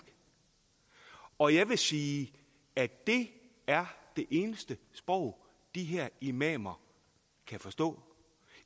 og jeg vil sige at det er det eneste sprog de her imamer kan forstå